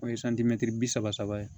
O ye bi saba saba ye